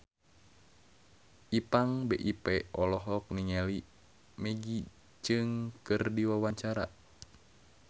Ipank BIP olohok ningali Maggie Cheung keur diwawancara